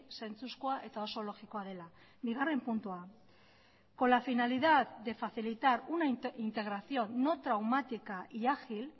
zentzuskoa eta oso logikoa dela bigarren puntua con la finalidad de facilitar una integración no traumática y ágil